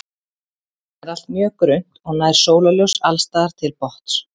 Vatnið er allt mjög grunnt og nær sólarljós alls staðar til botns.